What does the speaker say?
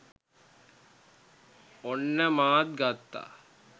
ඔන්න මාත් ගත්තා